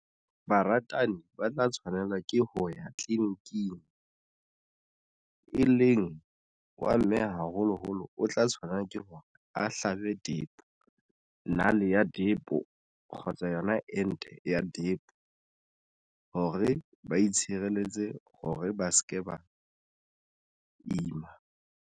Baratani ba tla tshwanela ke ho ya tliliniking e leng wa mme, haholoholo o tla tshwanela ke hore a hlabe depo nale ya depo kgotsa yona ente ya depo, hore ba itshireletse hore ba se ke ba ima.